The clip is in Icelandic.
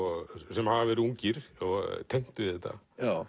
sem hafa verið ungir tengt við þetta